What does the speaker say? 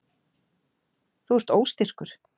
Þú ert óstyrkur.